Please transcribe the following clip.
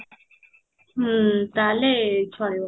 ହୁଁ ତାହାଲେ ଚଳିବ